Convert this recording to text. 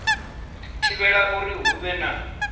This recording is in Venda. thivhela uri hu vhe na